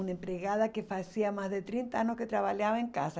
Uma empregada que fazia mais de trinta anos que trabalhava em casa.